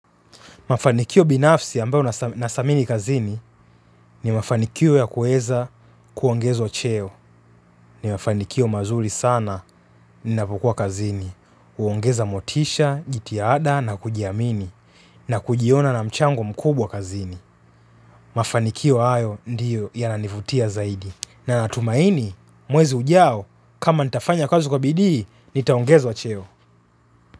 Mafanikio binafsi ambayo na thamini kazini ni mafanikio ya kuweza kuongezwa cheo. Ni mafanikio mazuri sana ninapo kuwa kazini. Huongeza motisha, jitihada na kujiamini na kujiona na mchango mkubwa kazini. Mafanikio hayo ndiyo yananivutia zaidi. Na natumaini mwezi ujao kama nitafanya kazi kwa bidii nitaongezwa cheo.